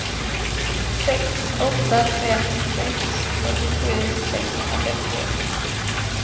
sex åtta fem sex fyrtiosju sexhundrafemtioett